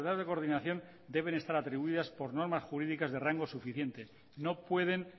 de coordinación deben estar atribuidas por normas jurídicas de rango suficiente no pueden